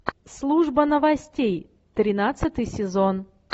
служба новостей тринадцатый сезон